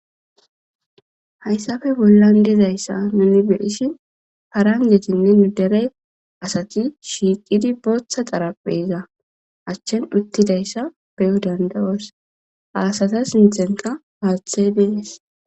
Hassappe bollan dizaysa nuni be7ishin harangetinne asati shiiqidi bootha xaarapheza accan uttidayssa beyo danda7oos, ha asatakon haathey dees.